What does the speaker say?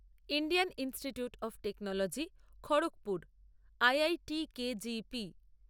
Indian Institute of Technology Kharagpur IITKGP